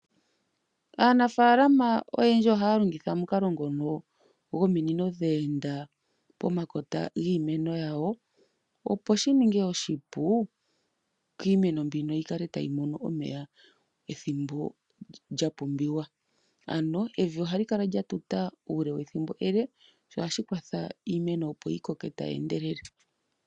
Aanafaalama oyendji ohaya longitha omukalo ngono gominino dhe enda pomakota giimeno yawo, opo shi ninge oshipu kiimeno mbini yi kale tayi mono omeya ethimbo lya pumbiwa. Ano evi ohali kala lya tuta ethimbo ele, sho ohashi kwatha iimeno yi koke tayi endelele .